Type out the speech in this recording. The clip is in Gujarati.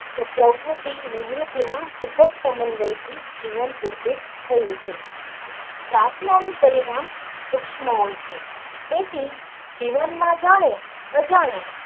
પ્રકૃતિ નિવૃત્તિ નું સબંધ વય થી જીવન થયું છે પાર્થના નું પરિણામ તુક્ષમ આવ્યું છે તેથી જીવન માં જાણે અજાણે.